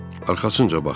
Arxasınca baxdı.